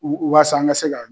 U u wasa an ka se ka